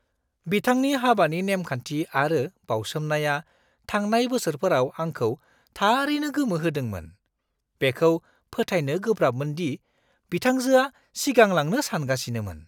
बिथांनि हाबानि नेमखान्थि आरो बावसोमनाया थांनाय बोसोरफोराव आंखौ थारैनो गोमोहोदोंमोन; बेखौ फोथायनो गोब्राबमोन दि बिथांजोआ सिगांलांनो सानगासिनोमोन!